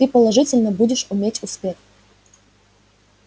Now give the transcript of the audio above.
ты положительно будешь иметь успех